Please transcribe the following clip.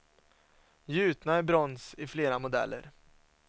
Gjutna i brons i flera modeller.